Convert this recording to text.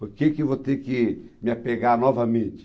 Por que eu vou ter que me apegar novamente?